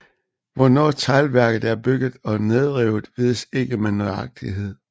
Hvornår teglværket er bygget og nedrevet vides ikke med nøjagtighed